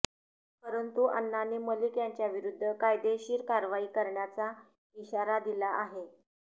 परंतु अण्णांनी मलिक यांच्याविरुद्ध कायदेशीर कारवाई करण्याचा इशारा दिला आहे